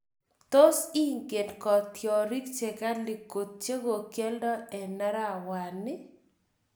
Tos ingen kotiorik che gali kot che kogialda en arawani iih?